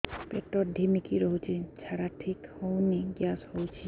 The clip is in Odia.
ପେଟ ଢିମିକି ରହୁଛି ଝାଡା ଠିକ୍ ହଉନି ଗ୍ୟାସ ହଉଚି